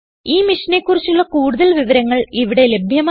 ഈ മിഷനെ കുറിച്ചുള്ള കുടുതൽ വിവരങ്ങൾ ഇവിടെ ലഭ്യമാണ്